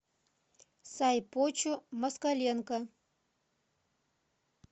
сайпочу москаленко